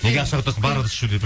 неге ақша құртасың бар ыдыс жу деп